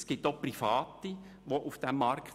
Es gibt auch private Anbieter auf diesem Markt.